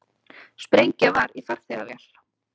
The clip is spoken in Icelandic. Sprengja var í farþegavél